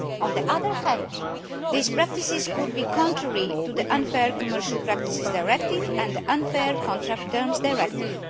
On the other hand, these practices could be contrary to the Unfair Commercial Practices Directive and the Unfair Contract Terms Directive.